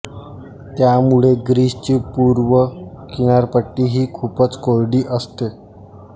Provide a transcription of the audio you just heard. त्यामुळे ग्रीसची पूर्व किनारपट्टी ही खूपच कोरडी असते